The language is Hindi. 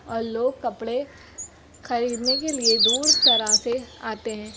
और लोग कपड़े खरीदने के लिए दूर तरह से आते हैं।